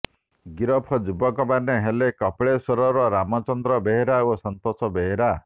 ଗିରଫ ଯୁବକମାନେ ହେଲେ କପିଳେଶ୍ୱରର ରାମଚନ୍ଦ୍ର ବେହେରା ଓ ସନ୍ତୋଷ ବେହେରା